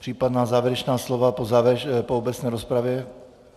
Případná závěrečná slova po obecné rozpravě?